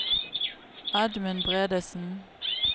Edmund Bredesen